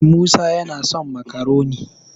musa yana son makaroni